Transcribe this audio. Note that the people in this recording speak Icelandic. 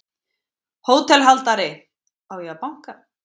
HÓTELHALDARI: Á ég að banka?